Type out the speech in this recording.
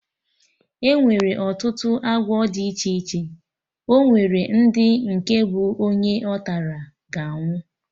Enwere ọtụtụ agwọ dị iche iche, onwere ndị nke bụ onye ọtara, ga anwụ